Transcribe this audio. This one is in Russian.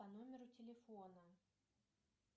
по номеру телефона